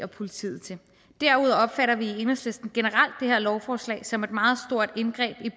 politiet til derudover opfatter vi i enhedslisten generelt det her lovforslag som et meget stort indgreb